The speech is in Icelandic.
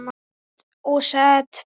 Set og setberg